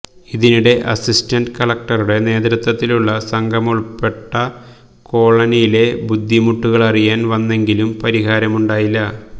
ഇതിനിടെ അസിസ്റ്റന്റ് കളക്ടറുടെ നേതൃത്വത്തിലുള്ള സംഘമുൾപ്പെടെ കോളനിയിലെ ബുദ്ധിമുട്ടുകളറിയാൻ വന്നെങ്കിലും പരിഹാരമുണ്ടായില്ല